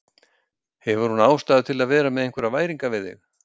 Hefur hún ástæðu til að vera með einhverjar væringar við þig?